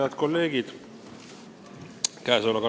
Head kolleegid!